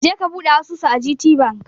Je ka buɗe asusu a gtbank!